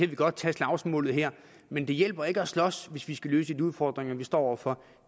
godt tage slagsmålet her men det hjælper ikke at slås hvis vi skal løse de udfordringer vi står over for